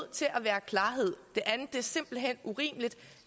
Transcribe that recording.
til at være klarhed det andet er simpelt hen urimeligt